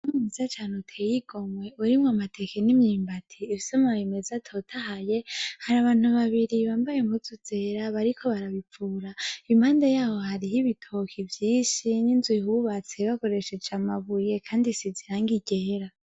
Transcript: Umurima urimwo amateke nimyumbatii bifise amababi meza atotahaye harabanyu babiri bambaye impuzu zera bariko barabvura, impande yaho hariho ibitoke vyinshi n'inzu bubatse bakoresheje amabuye kandi isize irangi ryera.